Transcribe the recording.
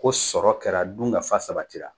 Ko sɔrɔ kɛra, dun ka fa sabatira.